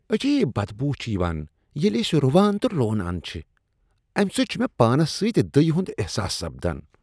عجیب بدبو چھےٚ یوان ییٚلہ أسۍ رُوان تہٕ لونان چھ ، امہ سۭتۍ چھُ مےٚ پانس سۭتۍ دٕیہ ہُند احساس سپدان۔